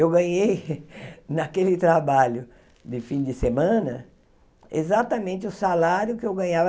Eu ganhei naquele trabalho de fim de semana exatamente o salário que eu ganhava.